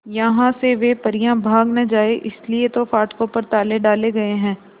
यहां से वे परियां भाग न जाएं इसलिए तो फाटकों पर ताले डाले गए हैं